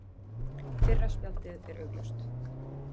Fyrra spjaldið er augljóst.